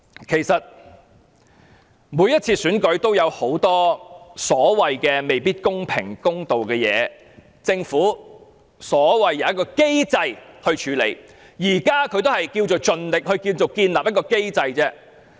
其實，每次選舉也有很多未必公平和公道的地方，政府說有一個機制可處理，其實現在也只是所謂盡力建立一個機制而已。